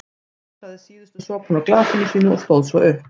Hún sötraði síðustu sopana úr glasinu sínu og stóð svo upp.